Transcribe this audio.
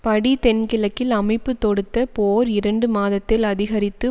படி தென்கிழக்கில் அமைப்பு தொடுத்த போர் இரண்டு மாதத்தில் அதிகரித்து